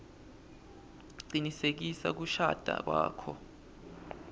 cinisekisa kushada kwakho